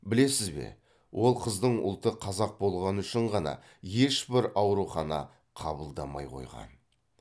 білесіз бе ол қыздың ұлты қазақ болғаны үшін ғана ешбір аурухана қабылдамай қойған